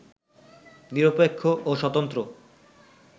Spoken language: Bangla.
নিরপেক্ষ ও স্বতন্ত্র